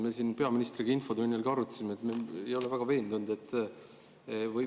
Me peaministriga infotunnis arutasime seda ja me ei ole väga veendunud.